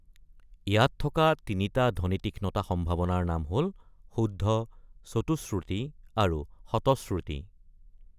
ইয়াত থকা তিনিটা ধ্বনিতীক্ষ্ণতা সম্ভাৱনাৰ নাম হ’ল, শুদ্ধ, চতুশ্ৰুতি, আৰু শতশ্ৰুতি।